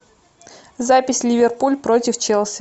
запись ливерпуль против челси